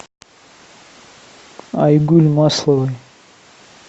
айгуль масловой